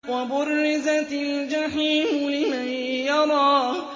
وَبُرِّزَتِ الْجَحِيمُ لِمَن يَرَىٰ